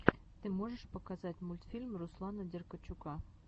ты можешь показать мультфильм руслана деркачука